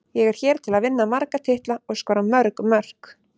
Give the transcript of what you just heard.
Ég er hér til að vinna marga titla og skora mörg mörk.